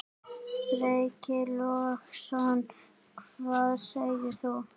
Breki Logason: Hvað segir þú?